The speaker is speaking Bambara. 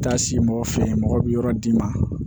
Taa se mɔgɔ fɛ mɔgɔ bi yɔrɔ d'i ma